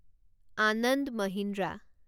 Ananda Mahindra